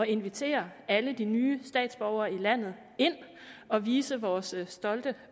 invitere alle de nye statsborgere i landet ind og vise vores stolte